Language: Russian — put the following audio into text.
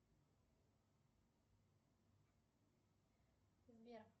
сбер